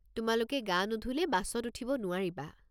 তোমালোকে গা নুধুলে বাছত উঠিব নোৱাৰিবা।